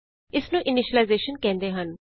ਇਸਨੂੰ ਇਨੀਸ਼ਲਾਈਜੇਸ਼ਨ ਕਹਿੰਦੇ ਹਨ